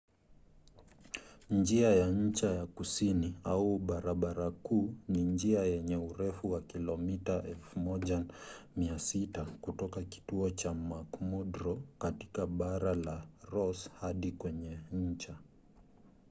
njia ya ncha ya kusini au barabara kuu ni njia yenye urefu wa kilomita 1600 kutoka kituo cha mcmurdo katika bahari ya ross hadi kwenye ncha